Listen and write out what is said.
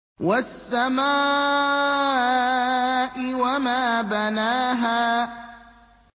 وَالسَّمَاءِ وَمَا بَنَاهَا